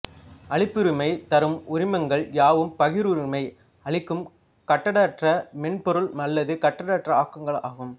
அளிப்புரிமை தரும் உரிமங்கள் யாவும் பகிர்வுரிமை அளிக்கும் கட்டற்ற மென்பொருள் அல்லது கட்டற்ற ஆக்கங்கள் ஆகும்